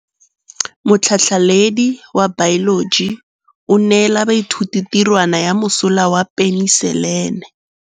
Motlhatlhaledi wa baeloji o neela baithuti tirwana ya mosola wa peniselene.